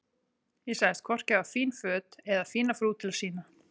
Ég sagðist hvorki hafa fín föt eða fína frú til að sýna.